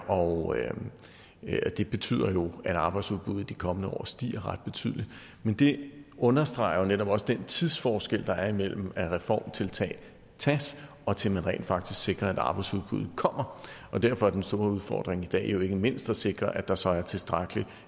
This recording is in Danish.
og det betyder jo at arbejdsudbuddet de kommende år stiger ret betydeligt men det understreger netop også den tidsforskel der er imellem reformtiltag tages og til at man rent faktisk sikrer at arbejdsudbuddet kommer og derfor er den store udfordring i dag jo ikke mindst at sikre at der så er et tilstrækkeligt